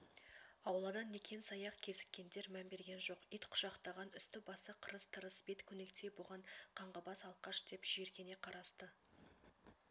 аулада некен-саяқ кезіккендер мән берген жоқ ит құшақтаған үсті-басы қырыс-тырыс бет көнектей бұған қаңғыбас алкаш деп жиіркене қарасты